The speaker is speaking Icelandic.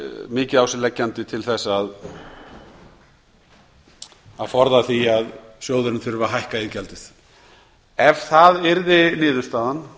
mikið á sig leggjandi til að forða því að sjóðurinn þurfi að hækka iðgjaldið ef það yrði niðurstaðan